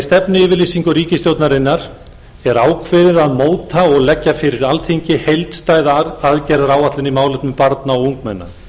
stefnuyfirlýsingu ríkisstjórnarinnar er ákveðið að móta og leggja fyrir alþingi heildstæða aðgerðaáætlun í málefnum barna og ungmenna